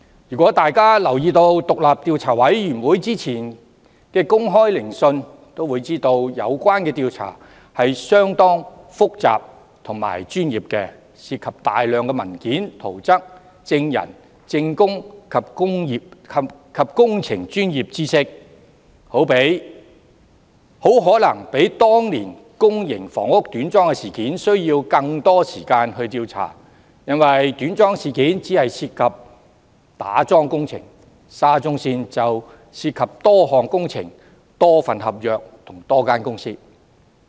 如果大家有留意委員會之前的公開聆訊，會發現有關調查是相當複雜和專業的，當中涉及大量文件、圖則、證人、證供及工程專業知識，很可能比當年公營房屋短樁事件需要更多時間調查，因為短樁事件只涉及打樁工程，而沙中線事件則涉及多項工程、多份合約及多間公司。